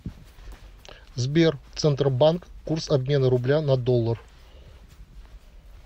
сбер центробанк курс обмена рубля на доллар